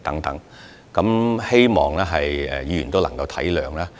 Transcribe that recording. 我希望各位議員體諒。